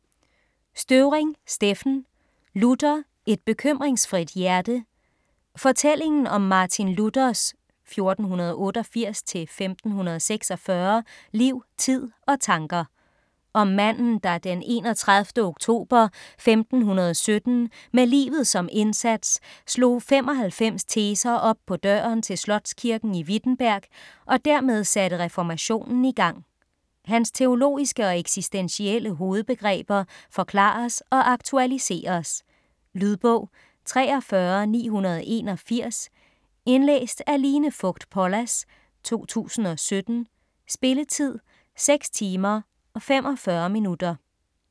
Støvring, Steffen: Luther: et bekymringsfrit hjerte Fortælling om Martin Luthers (1488-1546) liv, tid og tanker. Om manden, der den 31. oktober 1517, med livet som indsat, slog 95 teser op på døren til slotskirken i Wittenberg og dermed satte reformationen i gang. Hans teologiske og eksistentielle hovedbegreber forklares og aktualiseres. Lydbog 43981 Indlæst af Line Fogt Pollas, 2017. Spilletid: 6 timer, 45 minutter.